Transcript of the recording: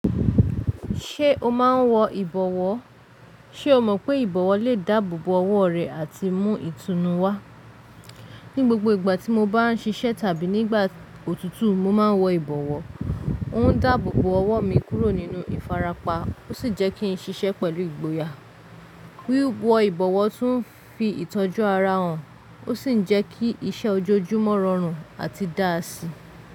Ṣé o máa ń wọ ìbọ̀wọ́? Ṣé o mọ̀ pé ìbọ̀wọ́ lè dáàbòbo ọwọ́ rẹ àti mú ìtùnú wá? Ni gbogbo ìgbà tí mo bá n ṣiṣẹ́ tàbí nígbà òtútù, mo máa ń wọ ìbọ̀wọ́. Ó ń dáàbòbo ọwọ́ mi kúrò nínú ìfarapa ó ṣì jẹ́ kí n ṣiṣẹ́ pẹ̀lú ìgboyà. Wíwọ ìbọ̀wọ́ tún fi ìtọ́jú ara hàn, ó ṣì ń jẹ́ kí iṣẹ́ ojoojúmọ́ rọrùn àti dáàsí.